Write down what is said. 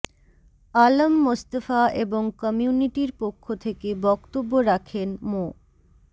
আলম মোস্তফা এবং কমিউনিটির পক্ষ থেকে বক্তব্য রাখেন মো